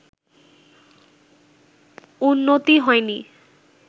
উন্নতি হয়নি